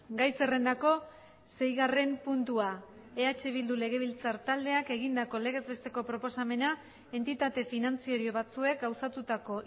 gai zerrendako seigarren puntua eh bildu legebiltzar taldeak egindako legez besteko proposamena entitate finantzario batzuek gauzatutako